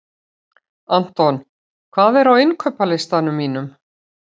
Anton, hvað er á innkaupalistanum mínum?